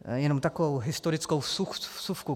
Jenom takovou historickou vsuvku.